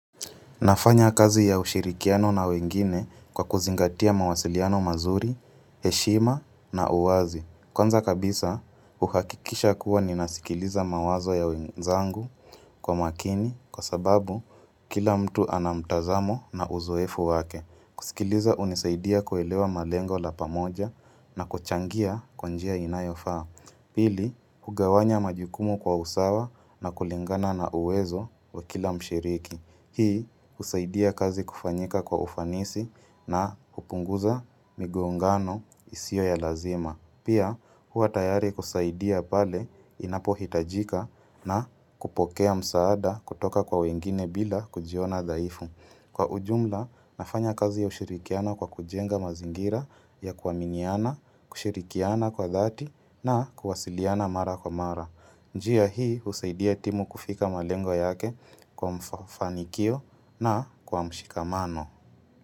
Nafanya kazi ya ushirikiano na wengine kwa kuzingatia mawasiliano mazuri, heshima na uwazi. Kwanza kabisa, uhakikisha kuwa ninasikiliza mawazo ya wenzangu kwa makini kwa sababu kila mtu anamtazamo na uzoefu wake. Kusikiliza hunisaidia kuelewa malengo la pamoja na kuchangia kwa njia inayofaa. Pili, hugawanya majukumu kwa usawa na kulingana na uwezo wa kila mshiriki. Hii husaidia kazi kufanyika kwa ufanisi na kupunguza migongano isiyo ya lazima. Pia hua tayari kusaidia pale inapo hitajika na kupokea msaada kutoka kwa wengine bila kujiona dhaifu. Kwa ujumla, nafanya kazi ya ushirikiana kwa kujenga mazingira ya kuaminiana, kushirikiana kwa thati na kuwasiliana mara kwa mara. Njia hii husaidia timu kufika malengo yake kwa mfanikio na kwa mshikamano.